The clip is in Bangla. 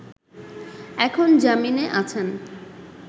এখন জামিনে আছেন